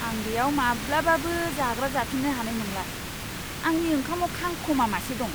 आं बेयाव माब्लाबाबो जाग्रा जाफिन्नो हानाय नंला, आंनि ओंखामाव खांखमा मासे दं!